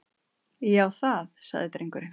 Já, það- sagði drengurinn.